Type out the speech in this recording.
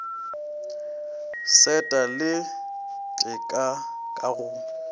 seta le teta ka go